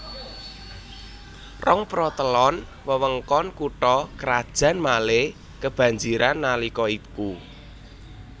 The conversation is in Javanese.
Rongprotelon wewengkon kutha krajan Malé kebanjiran nalika iku